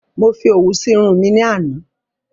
Mo fi òwú si Irun mi ní àná